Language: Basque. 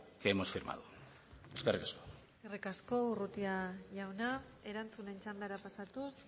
que hemos firmado eskerrik asko eskerrik asko urrutia jauna erantzunen txandara pasatuz